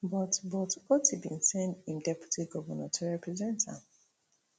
but but otti bin send im deputy govnor to represent am